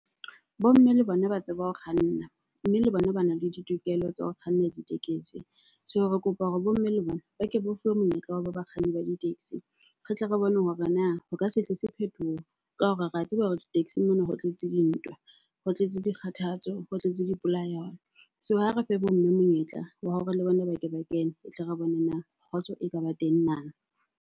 Bo mme le bona ba tseba ho kganna mme le bona bana le ditokelo tsa ho kganna ditekesi. So, re kopa hore bo mme le bona ba ke ba fuwe monyetla wa ho re ba kganne di-taxi. Re tle re bone hore na ho ka se tlise phethoho ka hore re a tseba hore di-taxing mona ho tletse dintwa, ho tletse dikgathatso, ho tletse dipolayano. So, ha re fe bo mme monyetla wa hore le bona ba ke ba kene, tle re bone na kgotso e ka ba teng na?